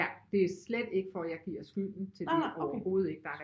Ja det er slet ikke for jeg giver skylden til det overhovedet ikke der